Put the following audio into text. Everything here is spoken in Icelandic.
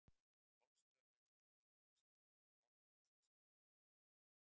Golfstraumurinn er hlýr hafstraumur í Norður-Atlantshafi.